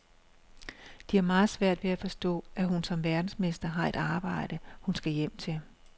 De har meget svært ved at forstå, at hun som verdensmester har et arbejde, hun skal hjem til.